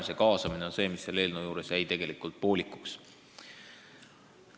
Nii et kaasamine on see, mis jäi tegelikult selle eelnõu puhul poolikuks.